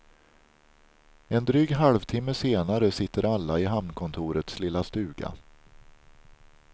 En dryg halvtimme senare sitter alla i hamnkontorets lilla stuga.